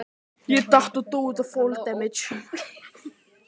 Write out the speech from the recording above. Jesús Kristur, sagði hann og nuddaði auman hálsinn.